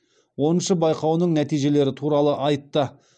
оныншы байқауының нәтижелері туралы айтты